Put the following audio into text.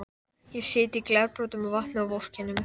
Ég sit í glerbrotum og vatni og vorkenni mér.